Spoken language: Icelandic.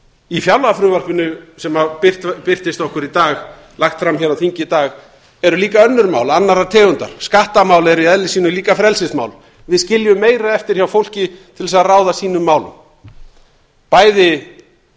í fjárlagafrumvarpinu sem birtist okkur í dag lagt fram hér á þingi í dag eru líka önnur mál annarrar tegundar skattamál eru í eðli sínu frelsismál við skiljum meira eftir hjá fólki til þess að ráða sínum málum bæði